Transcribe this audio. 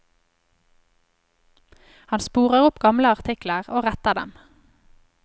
Han sporer opp gamle artikler, og retter dem.